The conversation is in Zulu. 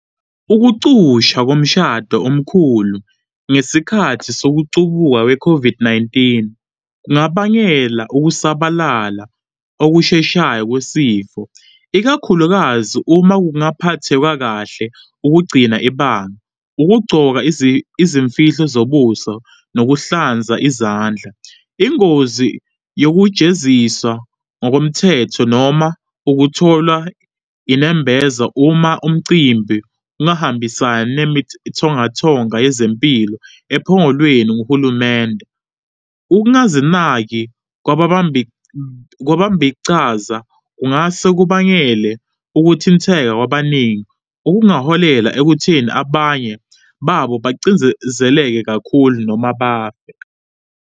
Ukucushwa komshado omkhulu ngesikhathi sokucubuka kwe-COVID-19, kungabangela ukusabalala okusheshayo kwesifo, ikakhulukazi uma kungaphathiwa kahle ukugcina ibanga, ukugcoka izimfihlo zobuso, nokuhlanza izandla. Ingozi yokujeziswa ngokomthetho noma ukutholwa inembeza uma umcimbi ungahambisani nemithothonga yezempilo ephongolweni nguhulumende. Ukungazinaki kwabambichaza, kungase kubangele ukuthinteka kwabaningi, okungaholela ekutheni abanye babo bacindzendzeleke kakhulu noma bafe.